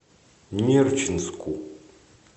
нерчинску